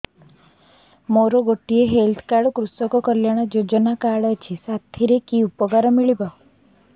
ମୋର ଗୋଟିଏ health card କୃଷକ କଲ୍ୟାଣ ଯୋଜନା କାର୍ଡ ଅଛି ସାଥିରେ କି ଉପକାର ମିଳିବ